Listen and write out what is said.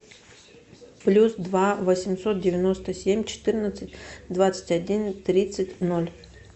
плюс два восемьсот девяносто семь четырнадцать двадцать один тридцать ноль